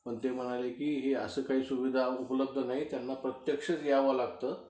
पण ते म्हणाले की अश्या काही सुविधा उपलब्ध नाहीत, त्यांना प्रत्यक्षच यावं लागतं